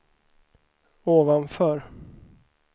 ovanför